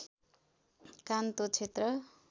कान्तो क्षेत्र